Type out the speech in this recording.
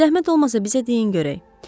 Zəhmət olmasa bizə deyin görək.